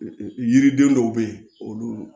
Yiriden dɔw bɛ yen olu